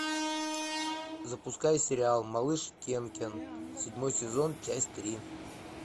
запускай сериал малыш кенкен седьмой сезон часть три